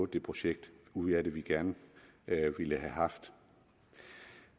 det projekt ud af det vi gerne ville have haft